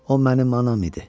O mənim anam idi.